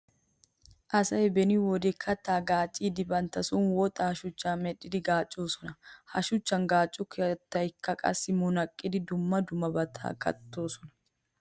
Asay beni wode kattaa gaacciiddi bantta son woxaa shuchchaa medhdhidi gaaccoosona. He shuchchan gaacco kattaakka qassi munaqqidi dumma dummabaa kattoosona.